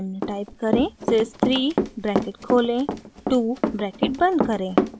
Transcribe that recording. sys 3 bracket खोलें 2 bracket बंद करें